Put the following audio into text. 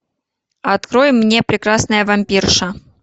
открой мне прекрасная вампирша